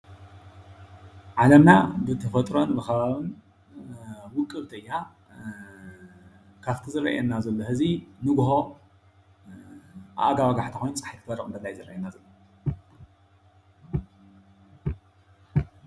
ዓለምና ብተፈጥሮን ብኸባብን ውቅብቲ እያ። ካፍቲ ዝርአየና ዘሎ ሐዚ ንጉሆ ኣብ ኣጋወጋሕታ ኮይኑ ፀሓይ እንትትበርቅ ይረአየና ኣሎ።